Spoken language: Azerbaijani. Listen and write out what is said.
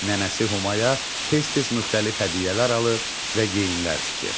Nənəsi Humaya tez-tez müxtəlif hədiyyələr alır və geyimlər tikir.